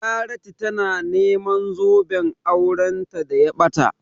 Charity tana neman zoben auranta da ya ɓata.